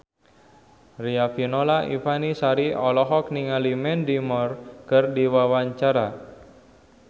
Riafinola Ifani Sari olohok ningali Mandy Moore keur diwawancara